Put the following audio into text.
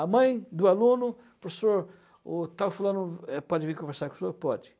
A mãe do aluno, professor, o tal fulano pode vir conversar com o senhor? Pode.